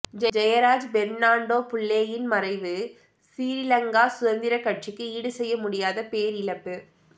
ஜெயராஜ் பெர்னாண்டோபுள்ளேயின் மறைவு சிரீலங்கா சுதந்திரக் கட்சிக்கு ஈடுசெய்ய முடியாத பேரிழப்பு